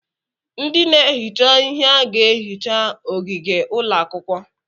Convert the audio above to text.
Ndị na-ehicha ihe a ga-ehicha ogige ụlọakwụkwọ?